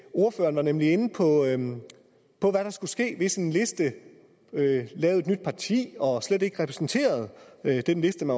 ordføreren var nemlig inde på hvad der skulle ske hvis en liste lavede et nyt parti og slet ikke repræsenterede den liste